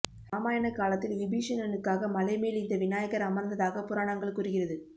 ராமாயண காலத்தில் விபீஷணனுக்காக மலை மேல் இந்த விநாயகர் அமர்ந்ததாக புராணங்கள் கூறுகிறது